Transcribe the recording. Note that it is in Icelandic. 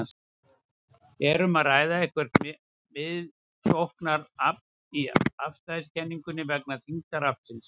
Er um að ræða eitthvert miðsóknarafl í afstæðiskenningunni vegna þyngdaraflsins?